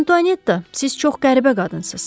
Antuanetta, siz çox qəribə qadınsınız.